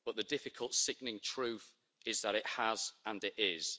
The difficult, sickening truth is that it has, and it is.